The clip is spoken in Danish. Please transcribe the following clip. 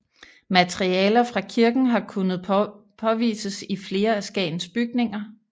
Materialer fra kirken har kunnet påvises i flere af Skagens bygninger